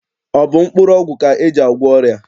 Ọ bụ mkpụrụọgwụ ka e ji agwọ ọrịa?